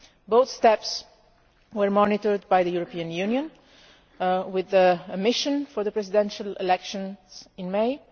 Both steps were monitored by the European Union with the mission for the presidential elections in May.